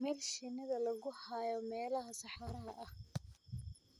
Meel shinnida lagu hayo meelaha saxaraha ah